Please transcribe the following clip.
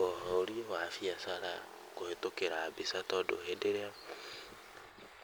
ũhũri wa baiacara kũhĩtũkĩra mbica tondũ rĩrĩa